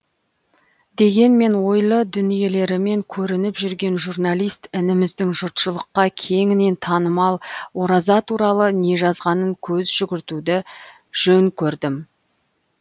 дегенмен ойлы дүниелерімен көрініп жүрген журналист ініміздің жұртшылыққа кеңінен танымал ораза туралы не жазғанына көз жүгіртуді жөн көрдім